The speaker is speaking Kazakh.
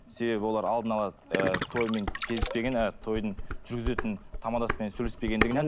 себебі олар алдына ала ыыы тоймен келіспеген тойдың жүргізетін тамадасымен сөйлеспегендігінен